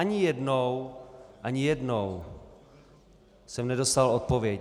Ani jednou - ani jednou jsem nedostal odpověď.